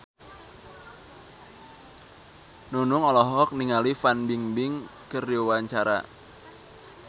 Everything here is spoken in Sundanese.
Nunung olohok ningali Fan Bingbing keur diwawancara